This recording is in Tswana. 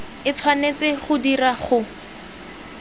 e tshwanetse go dirwa go